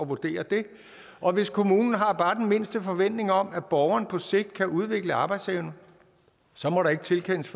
vurdere det og hvis kommunen har bare den mindste forventning om at borgeren på sigt kan udvikle arbejdsevne så må der ikke tilkendes